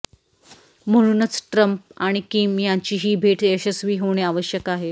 म्हणूनच ट्रम्प आणि किम यांची ही भेट यशस्वी होणे आवश्यक आहे